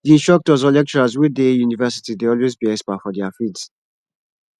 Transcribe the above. di instructors or lecturers wey de university dey always be expert for their fields